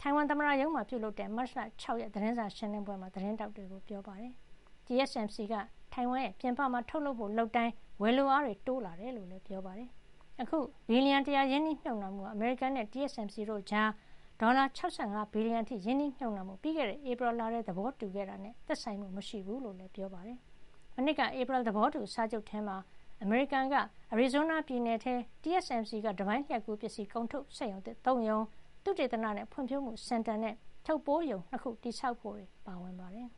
သမ္မတရုံးမှာပြုလုပ်တဲ့ မတ်လ ၆ ရက် သတင်းစာရှင်းလင်းပွဲမှာ သတင်းထောက်တွေကို ပြောပါတယ်။ TSMC က တိုင်ဝမ်ပြင်ပမှာ ထုတ်လုပ်ဖို့ လုပ်တိုင်း ဝယ်လိုအား တိုးလာတယ်လို့လည်း ပြောပါတယ်။ အခု ဘီလီယံ ၁၀၀ ရင်းနှီးမြှုပ်နှံမှုဟာ အမေရိကန်နဲ့ TSMC တို့ကြား ဒေါ်လာ ၆၅ ဘီလီယံအထိ ရင်းနှီးမြှုပ်နှံဖို့ ပြီးခဲ့တဲ့ ဧပြီလထဲ သဘောတူထားခဲ့တာနဲ့ သက်ဆိုင်မှုမရှိကြောင်းလည်း ပြောပါတယ်။ မနှစ်က ဧပြီလ သဘောတူစာချုပ် ထဲမှာ အမေရိကန် အရီဇိုးနား ပြည်နယ်ထဲ TSCM က တပိုင်းလျှပ်ကူး ပစ္စည်း ထုတ်စက်ရုံသစ် ၃ ရုံ ၊ သုတေသနနဲ့ ဖွံ့ဖြိုးမှု စင်တာ နဲ့ ထုပ်ပိုးရုံ ၂ ခု တည်ဆောက်ဖို့တွေ ပါဝင်ပါတယ်။